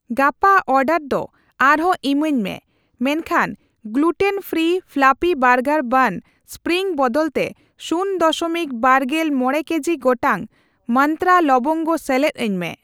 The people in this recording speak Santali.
ᱜᱟᱯᱟ ᱚᱨᱰᱟᱨ ᱫᱚ ᱟᱨᱦᱚᱸ ᱤᱢᱟᱹᱧ ᱢᱮ ᱢᱮᱱᱠᱷᱟᱱᱜᱞᱩᱴᱮᱱ ᱯᱷᱨᱤ ᱯᱷᱞᱚᱯᱷᱤ ᱵᱟᱨᱜᱟᱨ ᱵᱟᱱ ᱥᱯᱨᱤᱝ ᱵᱚᱫᱚᱞᱛᱮ ᱥᱩᱱ ᱫᱚᱥᱚᱢᱤᱠ ᱵᱟᱨᱜᱮᱞ ᱢᱚᱲᱮ ᱠᱮᱡᱤ ᱜᱚᱴᱟᱝ ᱢᱟᱱᱛᱨᱟ ᱞᱚᱵᱚᱝᱜᱚ ᱥᱮᱞᱮᱫ ᱟᱹᱧ ᱢᱮ ᱾